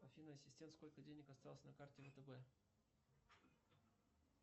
афина ассистент сколько денег осталось на карте втб